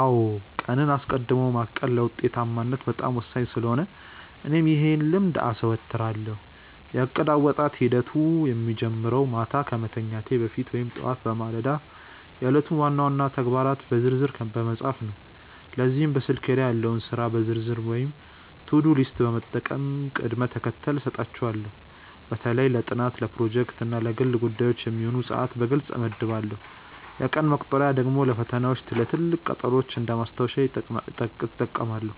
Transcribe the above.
አዎ ቀንን አስቀድሞ ማቀድ ለውጤታማነት በጣም ወሳኝ ስለሆነ እኔም ይህን ልምድ አዘወትራለሁ። የእቅድ አወጣጥ ሂደቴ የሚጀምረው ማታ ከመተኛቴ በፊት ወይም ጠዋት በማለዳ የዕለቱን ዋና ዋና ተግባራት በዝርዝር በመጻፍ ነው። ለዚህም በስልኬ ላይ ያለውን የሥራ ዝርዝር ወይም ቱዱ ሊስት በመጠቀም ቅደም ተከተል እሰጣቸዋለሁ። በተለይ ለጥናት፣ ለፕሮጀክቶች እና ለግል ጉዳዮች የሚሆኑ ሰዓታትን በግልጽ እመድባለሁ። የቀን መቁጠሪያ ደግሞ ለፈተናዎችና ለትልቅ ቀጠሮዎች እንደ ማስታወሻ እጠቀማለሁ።